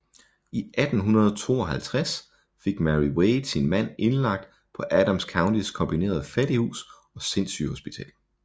I 1852 fik Mary Wade sin mand indlagt på Adams Countys kombinerede fattighus og sindssygehospital